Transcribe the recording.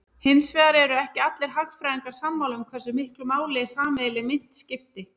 Hins vegar eru ekki allir hagfræðingar sammála um hversu miklu máli sameiginleg mynt skipti.